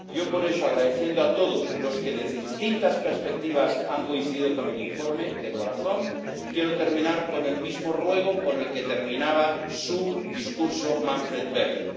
Yo, por eso —agradeciendo a todos los que desde distintas perspectivas han coincidido con el informe, de corazón—, quiero terminar con el mismo ruego con el que terminaba su discurso Manfred Weber.